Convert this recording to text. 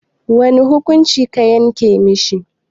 Wane hukunci a ka yanke mishi?